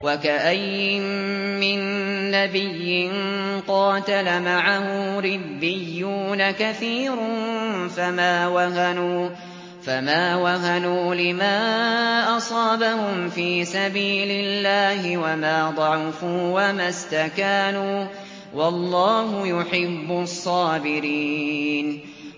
وَكَأَيِّن مِّن نَّبِيٍّ قَاتَلَ مَعَهُ رِبِّيُّونَ كَثِيرٌ فَمَا وَهَنُوا لِمَا أَصَابَهُمْ فِي سَبِيلِ اللَّهِ وَمَا ضَعُفُوا وَمَا اسْتَكَانُوا ۗ وَاللَّهُ يُحِبُّ الصَّابِرِينَ